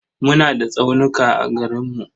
Muna da tsaunuka a garinmu.